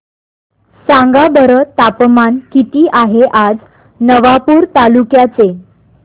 सांगा बरं तापमान किता आहे आज नवापूर तालुक्याचे